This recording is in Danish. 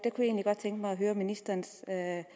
godt tænke mig at høre er ministerens